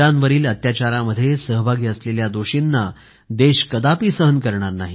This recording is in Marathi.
महिलांवरील अत्याचारामध्ये सहभागी असलेल्या दोषींना देश कदापि सहन करणार नाही